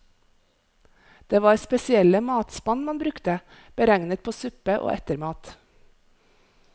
Det var spesielle matspann man brukte, beregnet på suppe og ettermat.